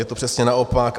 Je to přesně naopak.